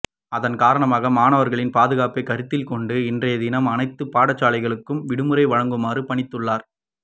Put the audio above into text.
அதன் காரணமாக மாணவர்களின் பாதுகாப்பை கருத்தில் கொண்டு இன்றைய தினம் அனைத்து பாடசாலைகளுக்கும் விடுமுறை வழங்குமாறு பணித்துள்ளார்